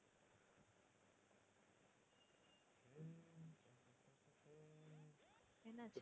என்ன ஆச்சு?